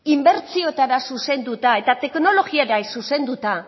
inbertsiotara zuzenduta eta teknologia zuzenduta